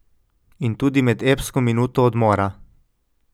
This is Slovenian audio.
In tudi med epsko minuto odmora.